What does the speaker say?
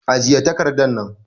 Ajiye takardan nan!